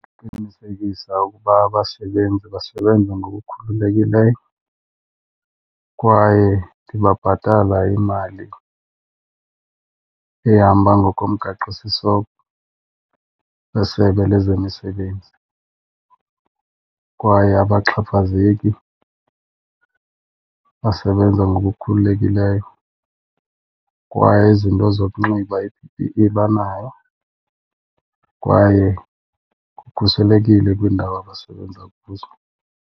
Qinisekisa ukuba abasebenzi basebenza ngokukhululekileyo kwaye ndibabhatala imali ehamba ngokomgaqosiseko weSebe lezeMisebenzi. Kwaye abaxhaphazeki, basebenza ngokukhululekileyo. Kwaye izinto zokunxiba i-P_P_E banayo kwaye kukhuselekile kwiindawo abasebenza kuzo.